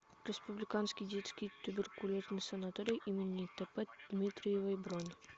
республиканский детский туберкулезный санаторий им тп дмитриевой бронь